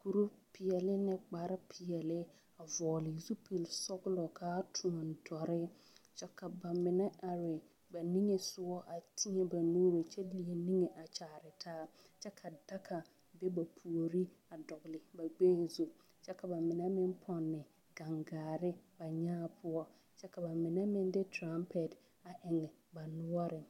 kuri peɛle ne kpare peɛle a vɔgle zupili sɔglɔ ka a toɔne dɔre kyɛ ka ba mine are ba niŋe sɔga a teɛ ba nuuri niŋe a kyaare taa kyɛ ka daga be ba puori a dɔgle ba gbɛɛ zu kyɛ ka ba mine meŋ pɔnne gaŋgaare ba nyaa poɔ kyɛ ka ba mine meŋ de terapɛte a eŋ ba noɔreŋ.